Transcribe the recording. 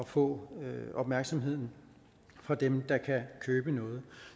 få opmærksomheden fra dem der kan købe noget